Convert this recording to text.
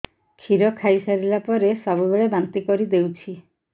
କ୍ଷୀର ଖାଇସାରିଲା ପରେ ସବୁବେଳେ ବାନ୍ତି କରିଦେଉଛି